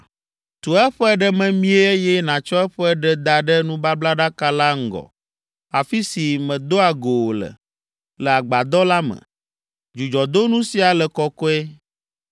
Tu eƒe ɖe memie eye nàtsɔ eƒe ɖe da ɖe nubablaɖaka la ŋgɔ, afi si medoa go wò le, le agbadɔ la me. Dzudzɔdonu sia le kɔkɔe.